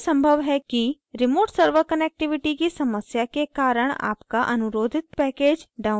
यह संभव है कि remote server connectivity की समस्या के कारण आपका अनुरोधित package download न हो पाये